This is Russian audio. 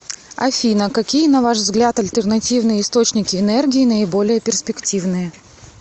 афина какие на ваш взгляд альтернативные источники энергии наиболее перспективные